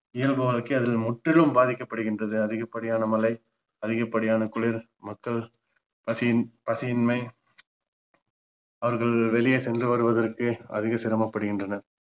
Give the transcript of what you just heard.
இயல்பு வாழ்க்கை அதில் முற்றிலும் பாதிக்கப்படுகின்றது அதிகபடியான மழை அதிபடியான குளிர் மக்கள் பசி பசியின்மை அவர்கள் வெளியே சென்று வருவதற்கு அதிக சிரமப் படுகின்றனர்